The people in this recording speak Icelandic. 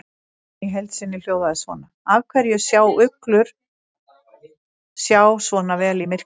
Spurningin í heild sinni hljóðaði svona: Af hverju sjá uglur sjá svona vel í myrkri?